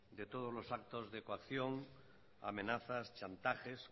de todos los actos de coacción amenazas chantajes